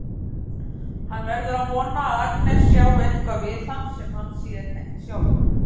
Hann verður að vona að Agnes sjái eitthvað við hann sem hann sér ekki sjálfur.